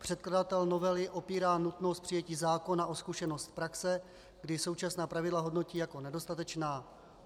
Předkladatel novely opírá nutnost přijetí zákona o zkušenost z praxe, kdy současná pravidla hodnotí jako nedostatečná.